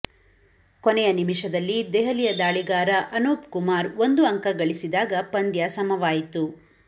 ಕೊನೆಯ ನಿಮಿಷದಲ್ಲಿ ದೆಹಲಿಯ ದಾಳಿಗಾರ ಅನೂಪಕುಮಾರ್ ಒಂದು ಅಂಕ ಗಳಿಸಿದಾಗ ಪಂದ್ಯ ಸಮವಾಯಿತು